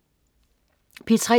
P3: